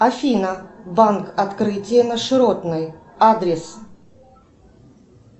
афина банк открытие на широтной адрес